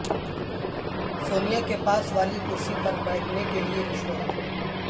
سونیا کے پاس والی کرسی پر بیھٹنے کے لیے رشوت